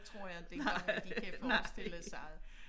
Tror jeg inte engang at de kan forestille sig det